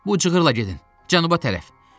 Bu cığıra yola gedin cənuba tərəf.